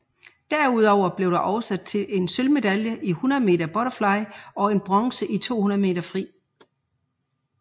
Derudover blev det også til en sølvmedalje i 100 meter butterfly og en bronze i 200 meter fri